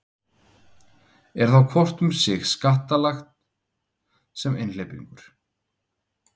Er þá hvort um sig skattlagt sem einhleypingur.